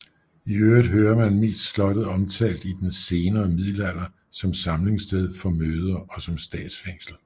I øvrigt hører man mest slottet omtalt i den senere middelalder som samlingssted for møder og som statsfængsel